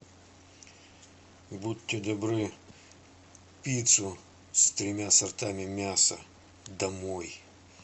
будьте добры пиццу с тремя сортами мяса домой